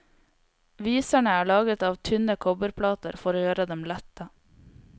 Viserne er laget av tynne kobberplater for å gjøre dem lette.